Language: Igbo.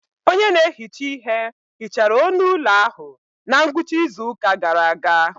Onye na-ehicha ihe hichara onu ụlọ ahụ na ngwụcha izu ụka gara aga.